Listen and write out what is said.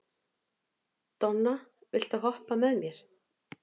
Donna, viltu hoppa með mér?